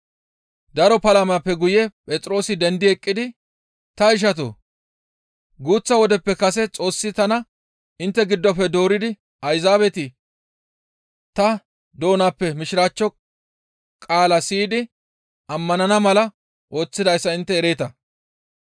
Daro palamappe guye Phexroosi dendi eqqidi, «Ta ishatoo! Guuththa wodeppe kase Xoossi tana intte giddofe dooridi Ayzaabeti ta doonappe mishiraachcho qaala siyidi ammanana mala ooththidayssa intte ereeta.